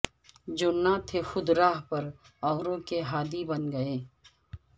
جو نہ تھے خود راہ پر اوروں کے ہادی بن گئے